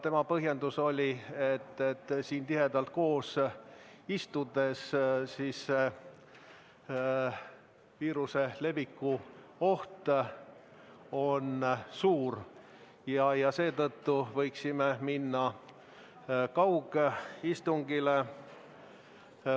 Tema põhjendus oli, et siin tihedalt koos istudes on viiruse leviku oht suur ja seetõttu võiksime üle minna kaugistungile.